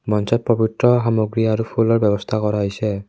মঞ্চত পবিত্ৰ সামগ্ৰী আৰু ফুলৰ ব্যৱস্থা কৰা হৈছে।